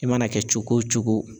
I mana kɛ cogo o cogo